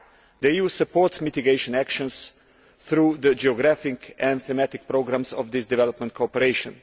The EU supports mitigation actions through the geographic and thematic programmes of this development cooperation.